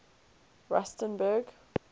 rustenburg